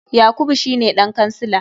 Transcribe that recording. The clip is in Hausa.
Yakubu shine dan kansila.